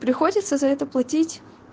приходится за это платить